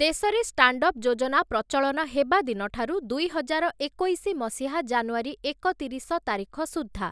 ଦେଶରେ ଷ୍ଟାଣ୍ଡଅପ ଯୋଜନା ପ୍ରଚଳନ ହେବା ଦିନଠାରୁ ଦୁଇହଜାର ଏକୋଇଶି ମସିହା ଜାନୁଆରୀ ଏକ ତିରିଶ ତାରିଖ ସୁଦ୍ଧା